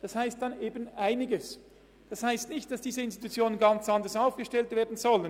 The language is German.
Das bedeutet nicht, dass diese Institutionen dann neu ganz anders aufgestellt werden sollen.